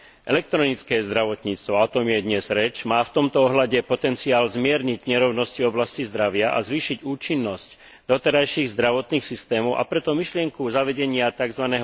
Elektronické zdravotníctvo, a o tom je dnes reč, má v tomto ohľade potenciál zmierniť nerovnosti v oblasti zdravia a zvýšiť účinnosť doterajších zdravotných systémov, a preto myšlienku zavedenia tzv.